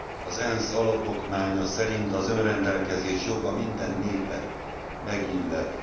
Az ENSZ alapokmánya szerint az önrendelkezés joga minden népet megillet.